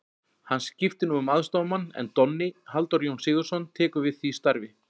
Hann skiptir nú um aðstoðarmann en Donni, Halldór Jón Sigurðsson, tekur við því starfi.